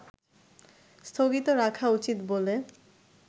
স্থগিত রাখা উচিত বলে